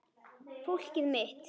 Fólkið mitt.